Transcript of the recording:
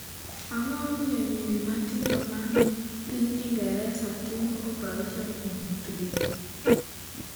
Ang’o momiyo nyiri matindo ma ni piny Ingresa timo opereson e ng’utgi?